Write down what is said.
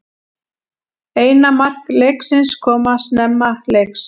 Eina mark leiksins koma snemma leiks